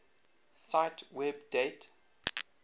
cite web date